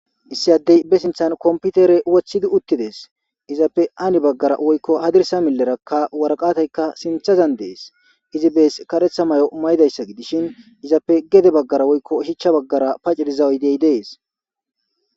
issi addey be sinthan komputere woththidi uttidees. izappe ani baggara woykko hadirsa milleraka waraqataykka sinthazan dees izi bees karetha mayo mayidayssa gidishin izappe gede baggara woykko hichcha baggara pacce diza uydey dees.